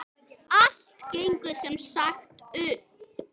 Allt gengur sem sagt upp!